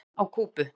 Uppreisn á Kúbu!